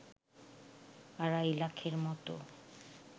আড়াই লাখের মতো